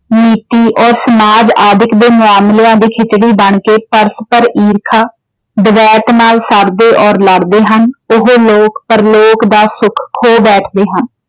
ਨੀਤੀ ਅਤੇ ਸਮਾਜ ਆਦਿਕ ਦੇ ਮਾਮਲਿਆਂ ਵਿੱਚ ਬਣ ਕੇ ਪਰਸਪਰ ਈਰਖਾ ਨਾਲ ਸੜਦੇ ਅਤੇ ਲੜਦੇ ਹਨ। ਉਹ ਲੋਕ-ਪ੍ਰਲੋਕ ਦਾ ਸੁੱਖ ਖੋ ਬੈਠਦੇ ਹਨ।